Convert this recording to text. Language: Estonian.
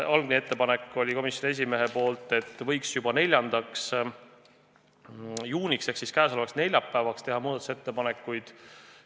Algne komisjoni esimehe ettepanek oli, et võiks juba 4. juuniks ehk siis käesolevaks neljapäevaks muudatusettepanekud esitada.